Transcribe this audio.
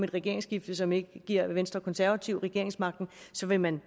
regeringsskifte som ikke giver venstre og konservative regeringsmagten så vil man